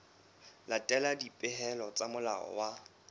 latela dipehelo tsa molao wa